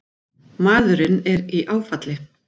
Maðurinn er í áfalli